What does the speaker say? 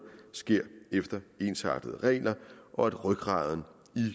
sker efter ensartede regler og at rygraden